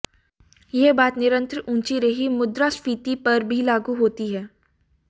यह बात निरंतर ऊंची रही मुद्रास्फीति पर भी लागू होती है